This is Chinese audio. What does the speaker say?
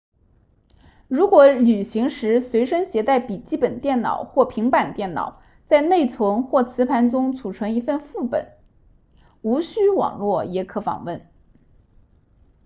如果旅行时随身携带笔记本电脑或平板电脑在内存或磁盘中存储一份副本无需网络也可访问